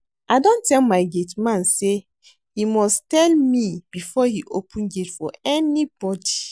I don tell my gate man say he must tell me before he open gate for anybody